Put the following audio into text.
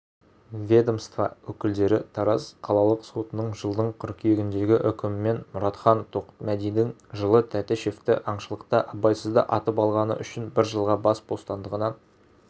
ведомство өкілдері тараз қалалық сотының жылдың қыркүйегіндегі үкімімен мұратхан тоқмәдидің жылы тәтішевті аңшылықта абайсызда атып алғаны үшін бір жылға бас бостандығынан